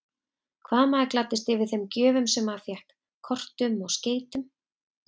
Hvað maður gladdist yfir þeim gjöfum sem maður fékk, kortum og skeytum!